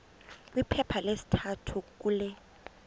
kwiphepha lesithathu kule